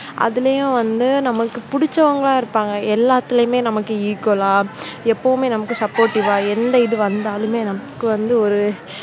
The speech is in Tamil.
அதுலயும் வந்து நமக்கு பிடிச்சவங்க இருப்பாங்க எல்லாத்துலயுமே நமக்கு equal லா எப்பவுமே நமக்கு supportive வா எந்த இது வந்தாலுமே நமக்கு வந்து ஒரு